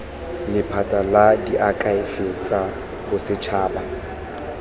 lephata la diakhaefe tsa bosetšhaba